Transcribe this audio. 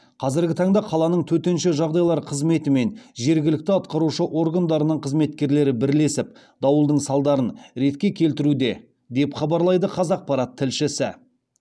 қазіргі таңда қаланың төтенше жағдайлар қызметі мен жергілікті атқарушы органдарының қызметкерлері бірлесіп дауылдың салдарын ретке келтіруде деп хабарлайды қазақпарат тілшісі